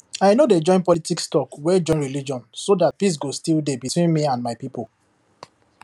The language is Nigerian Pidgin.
i no dey join politics talk wey join religion so that peace go still dey between me and my people